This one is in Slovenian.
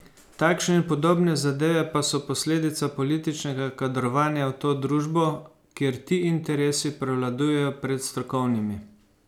Takšne in podobne zadeve pa so posledica političnega kadrovanja v to družbo, kjer ti interesi prevladujejo pred strokovnimi.